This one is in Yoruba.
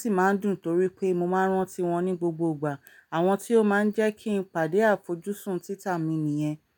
sì máa ń dùn torí pé mo máa ń rántí wọn ní gbogbo ìgbà. Àwọn tí ó máa ń jẹ́ kí n pàdé àfojúsùn títà mi nìyẹn.